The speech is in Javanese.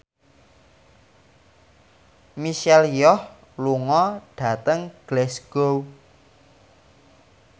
Michelle Yeoh lunga dhateng Glasgow